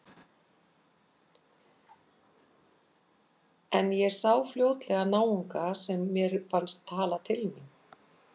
En ég sá fljótlega náunga sem mér fannst tala til mín.